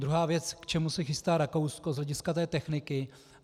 Druhá věc, k čemu se chystá Rakousko z hlediska té techniky.